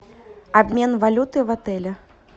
обмен валюты в отеле